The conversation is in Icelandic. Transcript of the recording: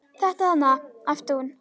Þetta þarna, æpti hún.